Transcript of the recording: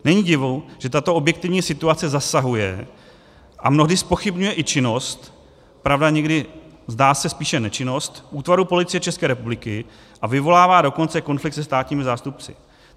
Není divu, že tato objektivní situace zasahuje a mnohdy zpochybňuje i činnost - pravda, někdy, zdá se, spíše nečinnost - útvarů Policie České republiky, a vyvolává dokonce konflikt se státními zástupci.